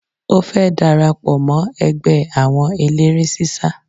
Ó fẹ́ darapọ̀ mọ́ ẹgbẹ́ àwọn eléré sísá